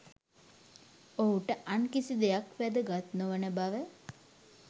ඔහුට අන් කිසි දෙයක් වැදගත් නොවන බව